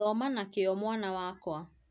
Thoma na kĩo mwana wakwa